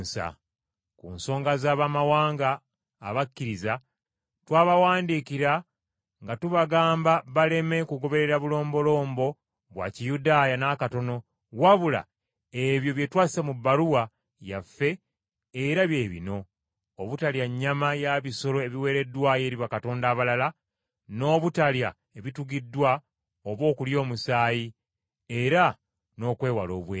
Ku nsonga z’Abamawanga abakkiriza, twabawandikira nga tubagamba baleme kugoberera bulombolombo bwa Kiyudaaya n’akatono wabula ebyo bye twassa mu bbaluwa yaffe era bye bino; obutalya nnyama ya bisolo ebiweereddwayo eri bakatonda abalala, n’obutalya ebitugiddwa oba okulya omusaayi, era n’okwewala obwenzi.”